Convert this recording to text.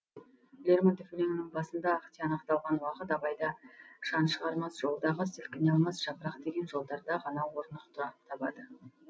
лермонтов өлеңінің басында ақ тиянақталған уақыт абайда шан шығармас жолдағы сілкіне алмас жапырақ деген жолдарда ғана орнықты табады